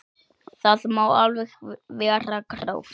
Það má alveg vera gróft.